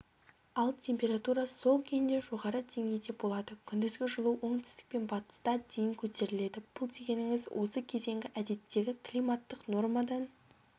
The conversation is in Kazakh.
ал температура сол күйінде жоғары деңгейде болады күндізгі жылу оңтүстік пен батыста дейін көтеріледі бұл дегеніңіз осы кезеңгі әдеттегі климаттық нормадан